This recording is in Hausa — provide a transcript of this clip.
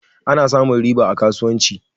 Ana samun riba a kasuwanci.